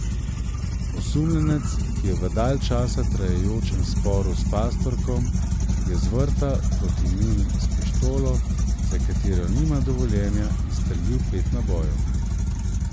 Osumljenec, ki je v dalj časa trajajočem sporu s pastorkom, je z vrta proti njim s pištolo, za katero nima dovoljenja, izstrelil pet nabojev.